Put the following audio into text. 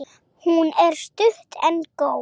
Hún er stutt en góð.